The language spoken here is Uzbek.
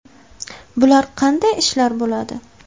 Bular qanday ishlar bo‘ladi?